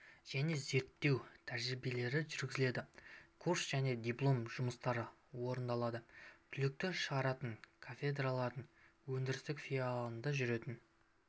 және зерттеу тәжірибелері жүргізіледі курс және диплом жұмыстары орындалады түлектер шығаратын кафедралардың өндірістік филиалында жүретін